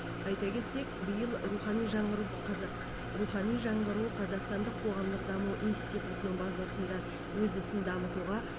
айта кетсек биыл рухани жаңғыру қаза рухани жаңғыру қазақстандық қоғамдық даму институтының базасында өз ісін дамытуға